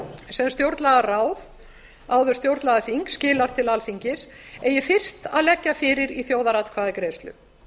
sem stjórnlagaráð áður stjórnlagaþing skilar til alþingis eigi fyrst að leggja fyrir í þjóðaratkvæðagreiðslu